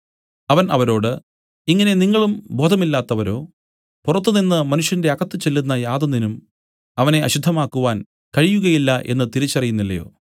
അവൻ അവരോട് ഇങ്ങനെ നിങ്ങളും ബോധമില്ലാത്തവരോ പുറത്തുനിന്നു മനുഷ്യന്റെ അകത്ത് ചെല്ലുന്ന യാതൊന്നിനും അവനെ അശുദ്ധമാക്കുവാൻ കഴിയുകയില്ല എന്നു തിരിച്ചറിയുന്നില്ലയോ